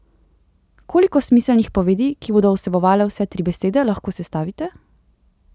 Koliko smiselnih povedi, ki bodo vsebovale vse tri besede, lahko sestavite?